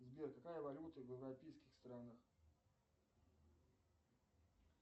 сбер какая валюта в европейских странах